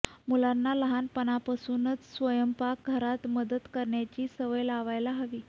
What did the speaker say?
मुलांना लहानपणापासूनच स्वयंपाक घरात मदत करण्याची सवय लावायला हवी